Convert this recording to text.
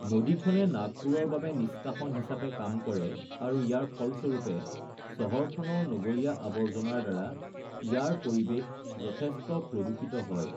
নদীখনে নাগপুৰৰ বাবে নিষ্কাশন হিচাপে কাম কৰে আৰু ইয়াৰ ফলস্বৰূপে চহৰখনৰ নগৰীয়া আৱৰ্জনাৰ দ্বাৰা ইয়াৰ পৰিৱেশ যথেষ্ট প্ৰদূষিত হয়